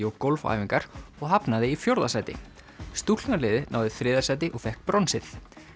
og gólfæfingar og hafnaði í fjórða sæti náði þriðja sæti og fékk bronsið